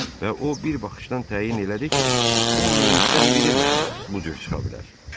Və o bir baxışdan təyin elədi ki, 10 mindən biri məhz bu cür çıxa bilər.